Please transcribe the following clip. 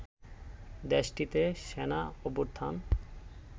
দেশটিতে সেনা অভ্যুত্থান